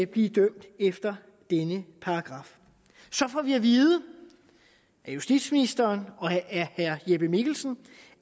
blive dømt efter denne paragraf så får vi at vide af justitsministeren og af herre jeppe mikkelsen